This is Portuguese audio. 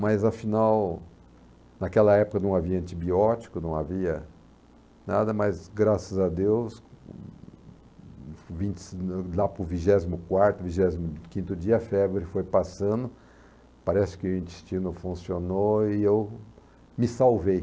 Mas afinal, naquela época não havia antibiótico, não havia nada, mas graças a Deus, vinte e cin lá para o vingésimo quarto, vigésimo quinto dia, a febre foi passando, parece que o intestino funcionou e eu me salvei.